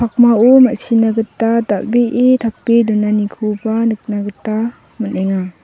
pakmao ma·sina gita dal·bee tape donanikoba nikna gita man·enga.